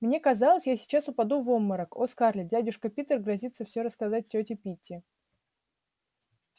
мне казалось я сейчас упаду в обморок о скарлетт дядюшка питер грозится всё рассказать тёте питти